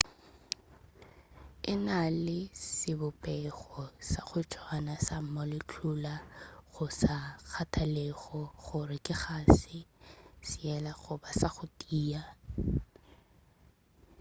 e na le sebopego sa go tswana sa molecular go sa kgathalege gore ke kgase seela goba sa go tia